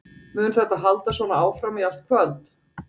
Mun þetta halda svona áfram í allt kvöld?